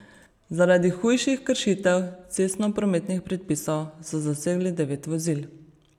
Zaradi hujših kršitev cestnoprometnih predpisov so zasegli devet vozil.